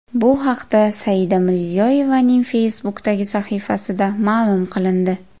Bu haqda Saida Mirziyoyevaning Facebook’dagi sahifasida ma’lum qilindi .